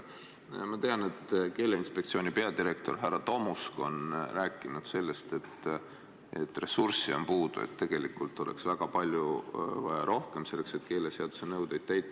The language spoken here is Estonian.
Ma tean, et Keeleinspektsiooni peadirektor härra Tomusk on rääkinud, et ressurssi on puudu, et tegelikult oleks väga palju rohkem vaja selleks, et keeleseaduse nõudeid täita.